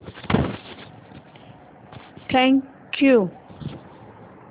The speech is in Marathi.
thank you